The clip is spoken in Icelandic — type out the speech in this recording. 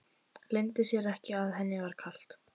Leyndi sér ekki að henni var kalt.